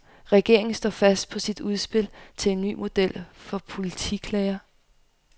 Regeringen står fast på sit udspil til en ny model for politiklager.